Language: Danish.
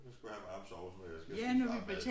Hun skulle have en varm sovs når jeg skal spise varm mad